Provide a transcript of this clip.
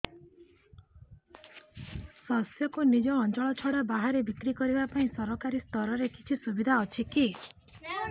ଶସ୍ୟକୁ ନିଜ ଅଞ୍ଚଳ ଛଡା ବାହାରେ ବିକ୍ରି କରିବା ପାଇଁ ସରକାରୀ ସ୍ତରରେ କିଛି ସୁବିଧା ଅଛି କି